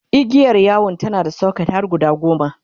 igiyar yawon tana da socket har guda goma